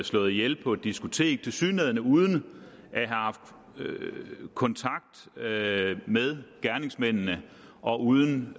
slået ihjel på et diskotek tilsyneladende uden at have haft kontakt med med gerningsmændene og uden